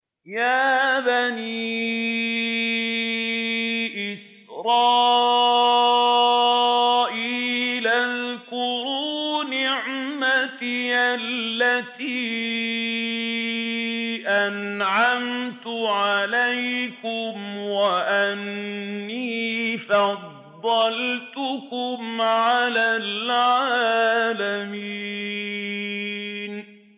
يَا بَنِي إِسْرَائِيلَ اذْكُرُوا نِعْمَتِيَ الَّتِي أَنْعَمْتُ عَلَيْكُمْ وَأَنِّي فَضَّلْتُكُمْ عَلَى الْعَالَمِينَ